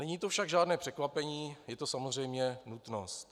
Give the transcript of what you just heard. Není to však žádné překvapení, je to samozřejmě nutnost.